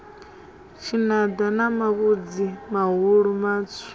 tshinada na mavhudzi mahulu matswu